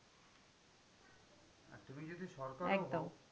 আর তুমি যদি সরকারও হও